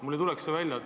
Mul ei tuleks see välja.